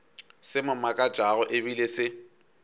se mo makatšago ebile se